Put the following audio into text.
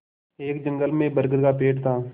एक जंगल में बरगद का पेड़ था